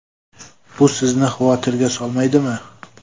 Bu sizni xavotirga solmaydimi?